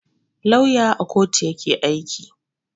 Lauya à kotu yake aiki.